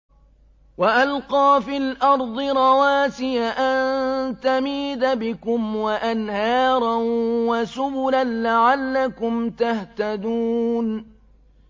وَأَلْقَىٰ فِي الْأَرْضِ رَوَاسِيَ أَن تَمِيدَ بِكُمْ وَأَنْهَارًا وَسُبُلًا لَّعَلَّكُمْ تَهْتَدُونَ